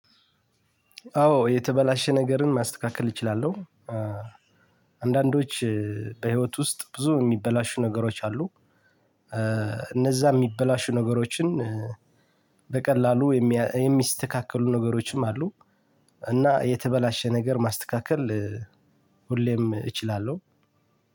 አዎ የተበላሸ ነገርን ማስተካከል እችላለሁ። አንዳንዶች በህይወት ውስጥ ብዙ እሚበላሹ ነገሮች አሉ። እነዛ እሚበላሹ ነገሮችን በቀላሉ የሚስተካከሉ ነገሮችም አሉ። እና የተበላሸ ነገር ማስተካከል ሁሌም እችላለሁ።